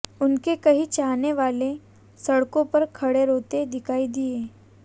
उनके कई चाहने वाले सड़कों पर खड़े रोते दिखाई दिये